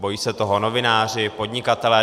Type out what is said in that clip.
Bojí se toho novináři, podnikatelé.